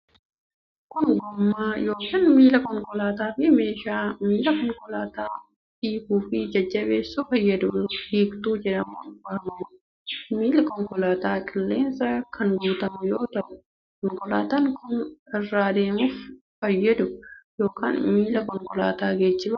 Kun, gommaa yokin miila konkaalaataa fi meeshaa miila konkolaataa hiikuu fi jabeessuuf fayyaduu hiiktuu jedhamuun waamamuu dha. Miilli konkolaataa qilleensaan kan guutamu yoo ta'u, konkolaataan kan irra adeemuuf fayyadu yokin miila konkolaataa geejibaa dha.`